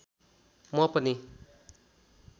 म पनि